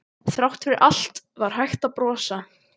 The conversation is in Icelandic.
Þrátt fyrir allt var hægt að brosa.